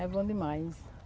É bom demais.